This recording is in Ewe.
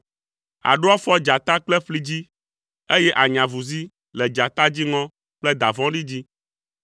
Àɖo afɔ dzata kple ƒli dzi, eye ànya avuzi le dzata dziŋɔ kple da vɔ̃ɖi dzi.